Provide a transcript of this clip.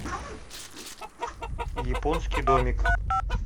японский домик